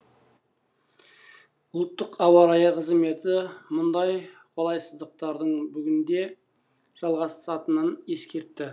ұлттық ауа райы қызметі мұндай қолайсыздықтардың бүгін де жалғасатынын ескертті